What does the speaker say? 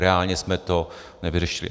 Reálně jsme to nevyřešili.